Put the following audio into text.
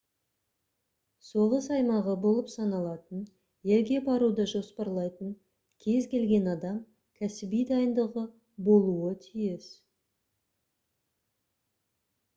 соғыс аймағы болып саналатын елге баруды жоспарлайтын кез-келген адам кәсіби дайындығы болуы тиіс